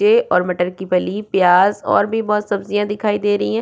ये ओर मटर की फली प्याज ओर भी बहोत सब्जियाँ दिखाई दे रही है।